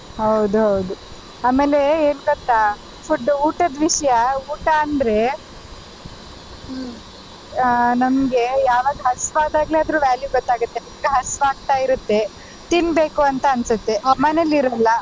ಹೌದು ಹೌದು ಆಮೇಲೆ ಏನ್ ಗೊತ್ತಾ food ಊಟದ ವಿಷ್ಯ ಊಟ ಅಂದ್ರೆ ಆ ನಮ್ಗೆ ಯಾವಾಗ ಹಸಿವು ಆದಾಗ ಅದ್ರ value ಗೊತ್ತಾಗುತ್ತೆ ಈಗ ಹಸಿವು ಆಗ್ತಾ ಇರುತ್ತೆ ತಿನ್ನಬೇಕು ಅಂತ ಅನ್ಸುತ್ತೆ ಮನೆಲ್ ಇರಲ್ಲ.